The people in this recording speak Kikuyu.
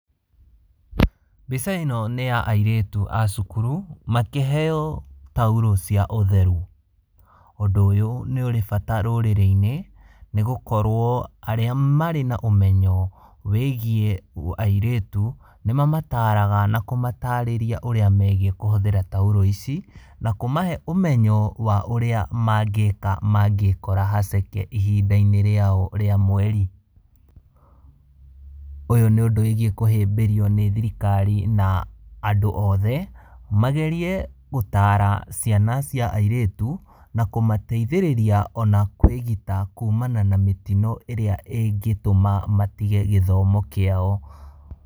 Mbica ĩno nĩ ya airĩtu a cukuru, makĩheo taurũ cia ũtheru. Ũndũ ũyũ nĩ ũrĩ bata rũrĩrĩ-inĩ nĩ gũkorwo arĩa marĩ na ũmenyo wĩgiĩ airĩtu nĩ mamataraga na kũmatarĩria ũrĩa megiĩ kũhũthĩra taurũ ici, na kumahe ũmenyo wa ũrĩa mangĩka mangĩkora haceke ihinda-inĩ rĩao rĩa mweri. Ũyũ nĩ ũndũ wĩgiĩ kũhĩmbĩrio nĩ thirikari na andũ othe, magerie gũtaara ciana cia airĩtu na kũmateithĩrĩria ona kwĩgita kumana na mĩtino ĩrĩa ĩngĩtũma matige gĩthomo kĩao.